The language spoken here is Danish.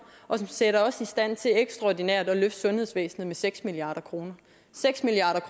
og som sætter os i stand til ekstraordinært at løfte sundhedsvæsenet med seks milliard kroner seks milliard